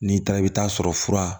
N'i taara i bɛ taa sɔrɔ fura